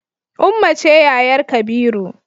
Ummah ce yayar kabiru